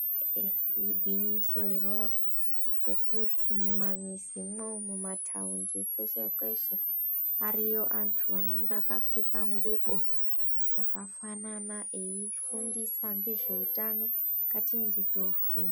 Ee Igwinyiso iroro rekuti mumamizimwo mumataundi kweshe kweshe ariyo anthu anenge akapfeka ngubo dzakafanana eifundisa ngezveutano ngatiende tofunda.